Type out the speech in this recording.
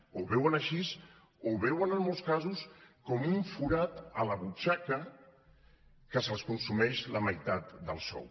ho veuen així ho veuen en molts casos com un forat a la butxaca que els consumeix la meitat del sou